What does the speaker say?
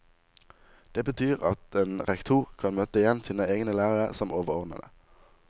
Det betyr at en rektor kan møte igjen sine egne lærere som overordnede.